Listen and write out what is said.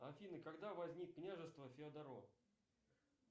афина когда возник княжество феодоро